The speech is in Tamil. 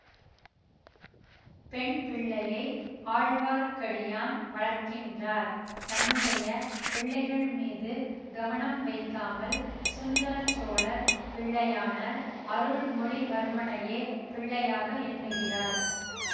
பெண் பிள்ளையை ஆழ்வார்க்கடியான் வளர்க்கின்றார் தன்னுடைய பிள்ளைகள் மீது கவனம் வைக்காமல் சுந்தர சோழர் பிள்ளையான அருள்மொழிவர்மனையே பிள்ளையாக எண்ணுகிறார்